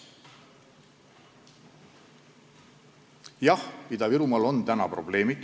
Jah, Ida-Virumaal on probleeme.